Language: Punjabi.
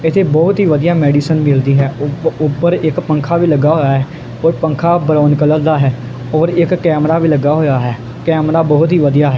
ਇੱਥੇ ਬਹੁਤ ਹੀ ਵਧੀਆ ਮੈਡੀਸਨ ਮਿਲਦੀ ਹੈ ਉੱਪਰ ਇੱਕ ਪੰਖਾ ਵੀ ਲੱਗਾ ਹੋਇਆ ਔਰ ਪੰਖਾ ਬਣਾਉਣ ਕਲਰ ਦਾ ਹੈ ਔਰ ਇੱਕ ਕੈਮਰਾ ਵੀ ਲੱਗਾ ਹੋਇਆ ਹੈ ਕੈਮਰਾ ਬਹੁਤ ਹੀ ਵਧੀਆ ਹੈ।